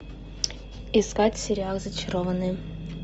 искать сериал зачарованные